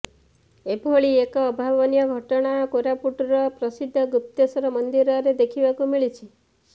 ଏଭଳି ଏକ ଅଭାବନୀୟ ଘଟଣା କୋରାପୁଟର ପ୍ରସିଦ୍ଧ ଗୁପ୍ତେଶ୍ୱର ମନ୍ଦିରରେ ଦେଖିବାକୁ ମିଳିଛି